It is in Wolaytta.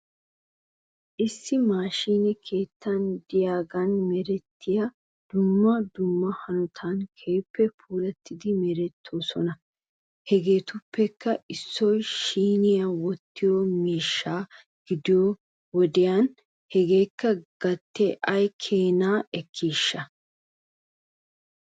Issi maashiine keetta diyaagan merettiyaa dumma dumma hanotan keehippe puulattidi meretoosona. Hegeetuppekka issoy siiniyaa wottiyoo miishshaa gidiyoo wodiyan hegaayo gatee ay keenaa ekkiishsha?